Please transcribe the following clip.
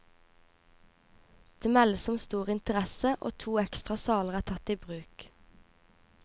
Det meldes om stor interesse, og to ekstra saler er tatt i bruk.